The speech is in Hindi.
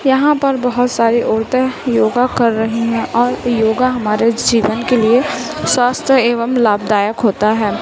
यहां पर बहोत सारे औरतें योगा कर रही हैं और योगा हमारे जीवन के लिए स्वास्थ्य एवं लाभदायक होता है।